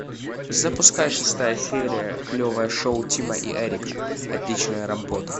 запускай шестая серия клевое шоу тима и эрика отличная работа